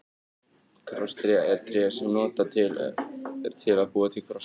Krosstré er tré sem notað er til að búa til krossa.